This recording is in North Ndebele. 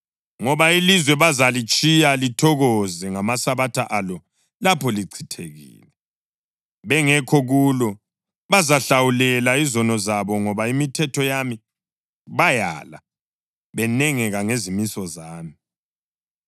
Ngoba ilizwe bazalitshiya lithokoze ngamasabatha alo lapho lichithekile, bengekho kulo. Bazahlawulela izono zabo ngoba imithetho yami bayala, benengeka ngezimiso zami.